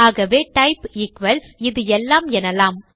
ஆகவே type equals இது எல்லாம் எனலாம்